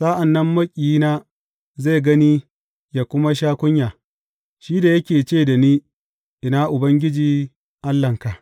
Sa’an nan maƙiyina zai gani yă kuma sha kunya, shi da yake ce da ni Ina Ubangiji Allahnka?